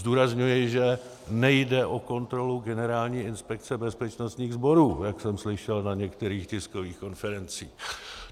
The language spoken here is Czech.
Zdůrazňuji, že nejde o kontrolu Generální inspekce bezpečnostních sborů, jak jsem slyšel na některých tiskových konferencích.